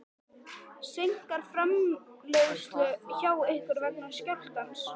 Helga: Seinkar framleiðslu hjá ykkur vegna skjálftans?